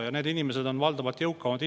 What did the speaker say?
Ja need inimesed on valdavalt jõukamad inimesed.